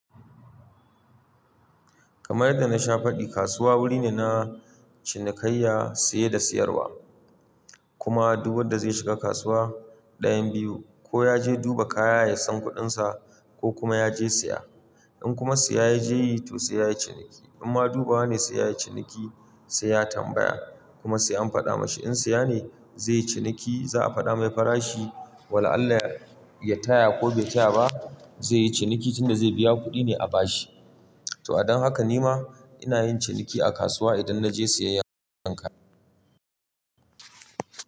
Kamar yadda na sha faɗi, kasuwa wuri ne na cinikayya, saye da siyarwa. Kuma duk wanda zai shiga kasuwa, ɗayan biyu, ko ya je duba kaya ya san kuɗinsa ko kuma ya je siya. In kuma siya ya je yi, to sai ya yi ciniki. In ma duba ne, sai ya yi ciniki sai ya tambaya kuma sai an faɗa masa in siya ne zai yi ciniki za a faɗa mai farashi. Wala Allah ya taya ko bai taya ba zai yi ciniki tunda zai biya kuɗi ne a bashi. To a dan haka ni ma ina yin ciniki a kasuwa idan na je siya yanayin kaya.